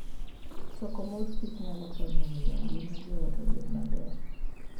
Choko mor kich nyalo konyo e miyo ngima joot obed maber.